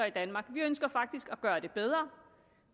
i danmark vi ønsker faktisk at gøre det bedre